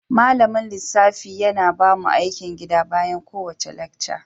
Malamin lissafi yana bamu aikin gida bayan kowace lacca.